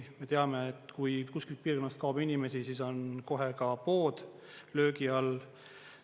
Me teame, et kui kuskilt piirkonnast kaob inimesi, siis on kohe ka pood löögi all.